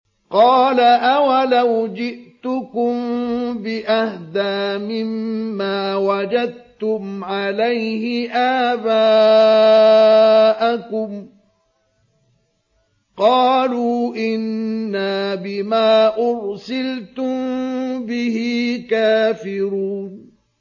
۞ قَالَ أَوَلَوْ جِئْتُكُم بِأَهْدَىٰ مِمَّا وَجَدتُّمْ عَلَيْهِ آبَاءَكُمْ ۖ قَالُوا إِنَّا بِمَا أُرْسِلْتُم بِهِ كَافِرُونَ